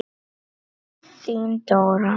Þín Dóra.